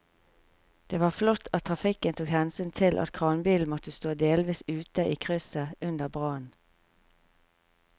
Det var flott at trafikken tok hensyn til at kranbilen måtte stå delvis ute i krysset under brannen.